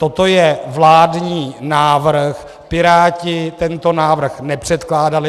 Toto je vládní návrh, Piráti tento návrh nepředkládali.